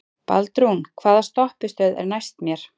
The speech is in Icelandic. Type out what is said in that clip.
Baldrún, hvaða stoppistöð er næst mér?